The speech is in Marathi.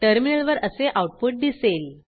टर्मिनलवर असे आऊटपुट दिसेल